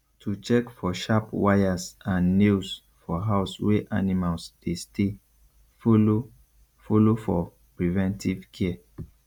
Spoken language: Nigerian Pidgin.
to check for sharp wires and nails for house wey animals dey stay follow follow for preventive care